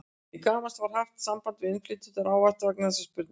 Til gamans var haft samband við innflytjendur ávaxta vegna þessarar spurningar.